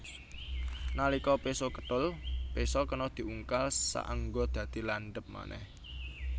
Nalika péso kethul péso kena diungkal saéngga dadi landhep manèh